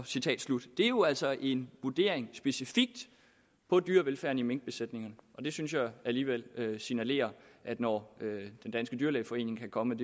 citat slut det er jo altså en vurdering specifikt på dyrevelfærden i minkbesætningerne og det synes jeg alligevel signalerer når den danske dyrlægeforening kan komme